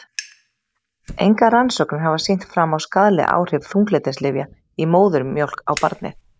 Engar rannsóknir hafa sýnt fram á skaðleg áhrif þunglyndislyfja í móðurmjólk á barnið.